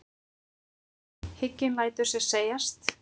Hygginn lætur sér segjast.